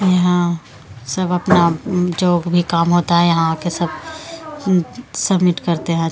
यहां सब अपना जो भी काम होता है यहां आके सब सबमिट करते हैं।